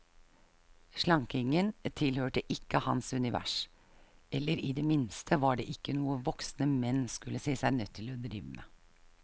Slankingen tilhørte ikke hans univers, eller i det minste var det ikke noe voksne menn skulle se seg nødt til å drive med.